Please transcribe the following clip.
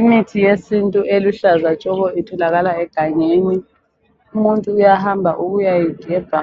Imithi yesintu eluhlaza tshoko itholakala egangeni. Umuntu uyahamba ukuyayigebha